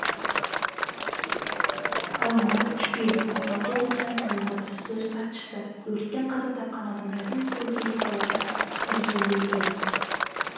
ғалымұрат жүкел алматы облысы әкімінің баспасөз хатшысы м өрттен қаза тапқан адамдардың екеуі бес баладан тәрбиелеген